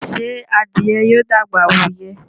Ṣe adìye yóò dàgbà wù iyẹ?